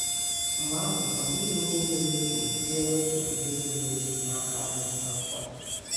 Mgbe ahụ, ọ dịghị ihe ga-ewepụ ga-ewepụ “udo zuru ezu” n’aka anyị kpamkpam.